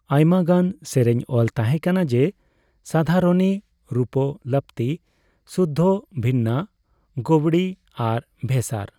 ᱟᱭᱢᱟᱜᱟᱱ ᱥᱮᱨᱮᱧ ᱚᱞ ᱛᱟᱸᱦᱮ ᱠᱟᱱᱟ ᱡᱮ ᱥᱟᱫᱷᱟᱨᱚᱱᱤ, ᱨᱩᱯᱠᱚᱞᱟᱯᱛᱤ, ᱥᱩᱫᱫᱷᱚ, ᱵᱷᱤᱱᱱᱟ, ᱜᱳᱣᱲᱤ ᱟᱨ ᱵᱷᱮᱥᱟᱨ ᱾